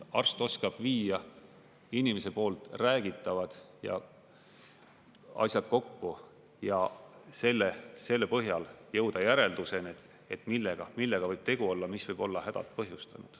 Arst oskab viia inimese poolt räägitavad asjad kokku ja selle põhjal jõuda järelduseni, millega võib tegu olla, mis võib olla hädad põhjustanud.